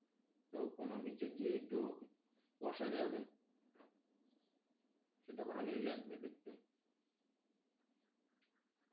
তো কোনও beach এ গিয়ে একটু বসা যাবে সেটা ভালোই লাগবে দেখতেও,